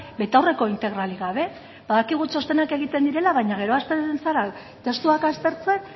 betaurreko integralik gabe badakigu txostenak egiten direla baina gero hasten zara testuak aztertzen